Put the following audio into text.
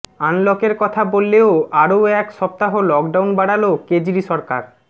আনলকের কথা বললেও আরও এক সপ্তাহ লকডাউন বাড়াল কেজরি সরকার